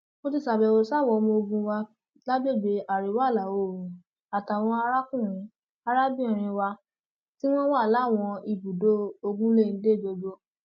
mo ti ṣàbẹwò sáwọn ọmoògùn wa lágbègbè àríwáìlàoòrùn àtàwọn arákùnrin arábìnrin wa tí wọn wà láwọn ibùdó ogunléndé gbogbo